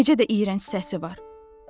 Necə də iyrənc səsi var.